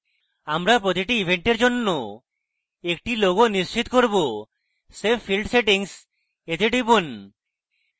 আমরা প্রতিটি event জন্য একটি logo নিশ্চিত করব save field settings we টিপুন